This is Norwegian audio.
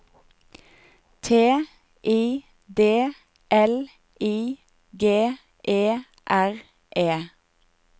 T I D L I G E R E